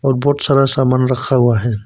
और बहुत सारा सामान रखा हुआ है।